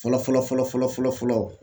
Fɔlɔ fɔlɔ fɔlɔ fɔlɔ fɔlɔ fɔlɔ fɔlɔ fɔlɔ